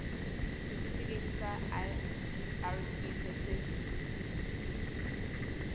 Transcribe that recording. setifikeiting sa irp se se